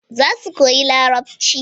Za su koyi larabci